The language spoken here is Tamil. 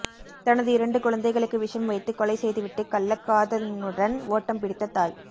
தனது இரண்டு குழந்தைகளுக்கு விஷம் வைத்து கொலை செய்துவிட்டு கள்ளக்காதலனுடன் ஓட்டம் பிடித்த தாய்